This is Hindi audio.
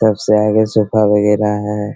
तब से आए गए सोफा वगैरा है।